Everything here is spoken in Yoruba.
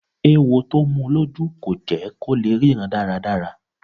Ewo tó mu lójú kò jẹ́ kó lè ríran dáradára.